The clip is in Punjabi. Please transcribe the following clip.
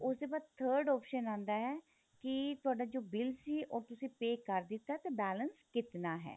ਉਸ ਦੇ ਬਾਅਦ third option ਆਂਦਾ ਹੈ ਕੀ ਤੁਹਾਡਾ ਜੋ bill ਸੀ ਉਹ ਤੁਸੀਂ pay ਕਰ ਦਿੱਤਾ ਤੇ balance ਕਿਤਨਾ ਹੈ